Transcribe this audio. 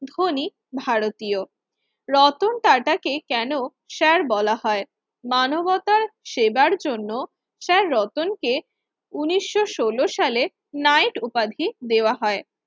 ধনী ভারতীয় রতন টাটা কে কেন Sir বলা হয় মানবতার সেবার জন্য Sir রতনকে উনিশ সলো সালে knight উপাধি দেওয়া হয়